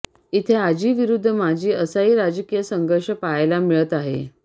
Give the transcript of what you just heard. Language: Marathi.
इथे आजी विरुद्ध माजी असाही राजकीय संघर्ष पाहायला मिळत आहे